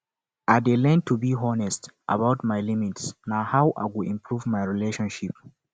i dey learn to be honest about my limits na how i go improve relationships